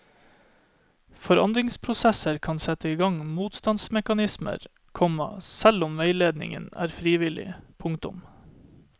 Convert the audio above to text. Forandringsprosesser kan sette igang motstandsmekanismer, komma selv om veiledningen er frivillig. punktum